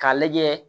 K'a lajɛ